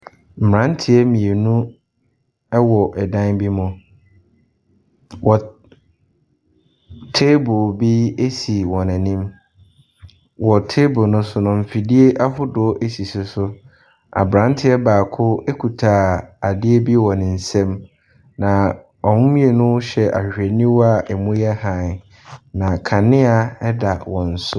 Mmeranteɛ mmienu wɔ dan bi mu. Wɔ table bi si wɔn anim. Wɔ table no so no, mfidie ahodo sisi so. Aberanteɛ baako kuta adeɛ bi wɔ ne nsam, na wɔn mmienu hyɛ ahwehwɛniwa a ɛmu yɛ hann, na kanea da wɔn so.